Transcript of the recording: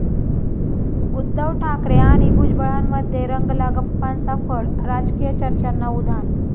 उद्धव ठाकरे आणि भुजबळांमध्ये रंगला गप्पांचा फड, राजकीय चर्चांना उधाण!